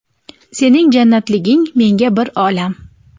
Sening jannatliging menga bir olam.